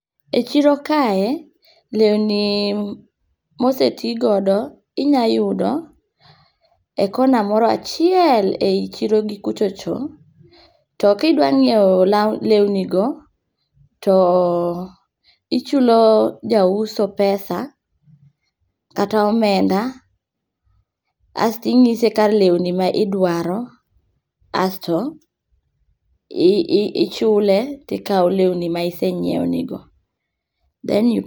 E chiro kae lewni mosetigodo inya yudo e kona moro achiel ei chiro gi kuchocho to kidwa nyiew law, lewni go to ichulo jauso pesa kata omenda asto inyise kar lewni ma idwaro asto ichule tikaw lewni ma isenyiew go then you